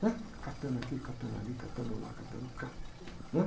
Né? Catando aqui, catando ali, catando lá, catando cá, né?